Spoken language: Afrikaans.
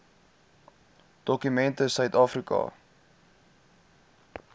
dokument sit suidafrika